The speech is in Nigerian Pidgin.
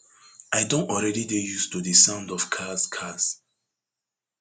i don already dey used to di sound of cars cars